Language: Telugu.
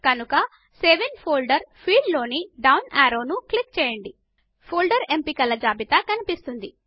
కనుక సేవ్ ఇన్ ఫోల్డర్ ఫీల్డ్ లోని డౌన్ యారోను క్లిక్ చేయండి ఫోల్డర్ ఎంపికల జాబితా కనిపిస్తుంది